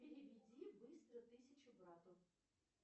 переведи быстро тысячу брату